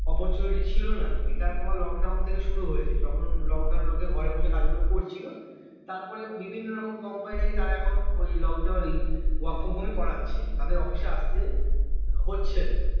opportunity ছিল না এটা তোমার lockdown থেকে শুরু হয়েছে যখন lockdown লোকে ঘরে বসে কাজ গুলো করছিলো তারপরে বিভিন্ন রকম company নাকি তারা এখনো ওই lockdown uh work from home এই করেছে তাদের office এ আস্তে হচ্ছে না